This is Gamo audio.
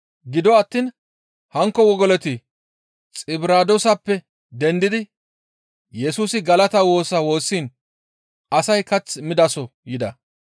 Gido attiin hankko wogoloti Xibiraadooseppe dendidi Yesusi galata woosa woossiin asay kath midaso yida.